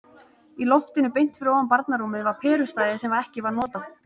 Í loftinu beint fyrir ofan barnarúmið var perustæði sem ekki var notað.